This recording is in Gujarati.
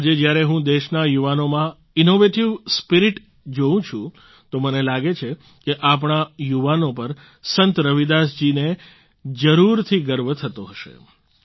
આજે જ્યારે હું દેશના યુવાનોમાં ઇનોવેટિવ સ્પિરિટ જોવું છું તો મને લાગે છે કે આપણા યુવાનો પર સંત રવિદાસ જીને જરૂરથી ગર્વ થતો હશે